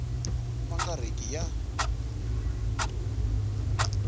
ma nga ri ki ya